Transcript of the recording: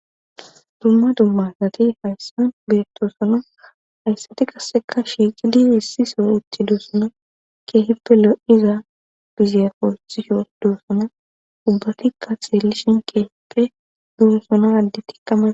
Dumma dummasati hayssan beetosona hayssati qasseka shiixidi hissi so uti duosona keehippe lo7iza bizeefoxisho duossona ubbatikka xeelishin keehippe duossona addi tikkama.